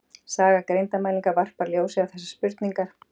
Saga greindarmælinga varpar ljósi á þessar spurningar.